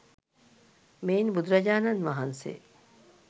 මෙයින් බුදුරජාණන් වහන්සේ